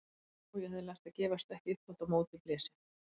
Og ég hafði lært að gefast ekki upp þótt á móti blési.